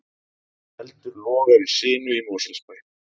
Eldur logar í sinu í Mosfellsbæ